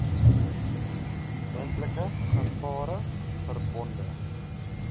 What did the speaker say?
moontlike gevare verbonde